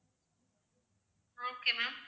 ah okay ma'am